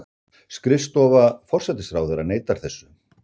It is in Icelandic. Skrifstofa forsætisráðherra neitar þessu